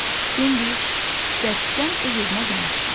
Bambi bərkdən öz-özünə danışdı.